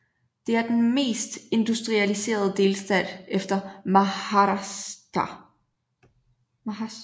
Det er den mest industrialiserede delstat efter Maharashtra